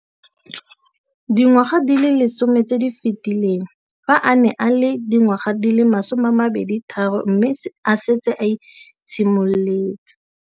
Dingwaga di le 10 tse di fetileng, fa a ne a le dingwaga di le 23 mme a setse a itshimoletse